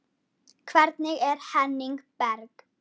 Hvernig er Henning Berg?